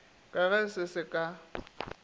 ka ge se sa ka